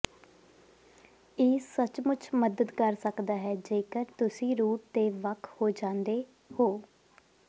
ਇਹ ਸੱਚਮੁੱਚ ਮਦਦ ਕਰ ਸਕਦਾ ਹੈ ਜੇਕਰ ਤੁਸੀਂ ਰੂਟ ਤੇ ਵੱਖ ਹੋ ਜਾਂਦੇ ਹੋ